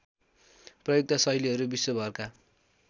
प्रयुक्त शैलीहरू विश्वभरका